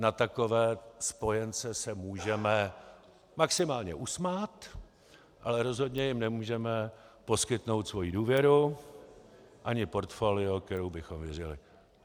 Na takové spojence se můžeme maximálně usmát, ale rozhodně jim nemůžeme poskytnout svoji důvěru ani portfolio, kterému bychom věřili.